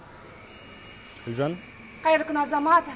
гүлжан қайырлы күн азамат